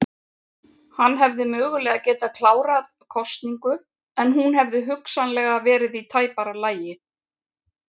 Hann hefði mögulega getað klárað kosningu en hún hefði hugsanlega verið í tæpara lagi.